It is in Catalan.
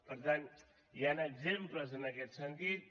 per tant hi han exemples en aquest sentit